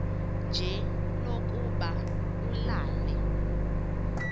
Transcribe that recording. nje lokuba ulale